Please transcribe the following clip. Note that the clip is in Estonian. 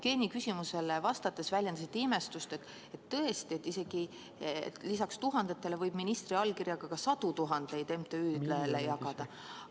Jevgeni küsimusele vastates väljendasite imestust, et tõesti, lisaks tuhandetele eurodele võib ministri allkirjaga isegi sadu tuhandeid eurosid MTÜ-dele jagada.